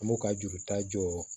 An b'u ka juru ta